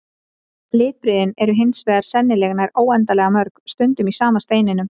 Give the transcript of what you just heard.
Litbrigðin eru hins vegar sennilega nær óendanlega mörg, stundum í sama steininum.